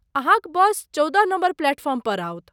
अहाँक बस चौदह number platform पर आओत।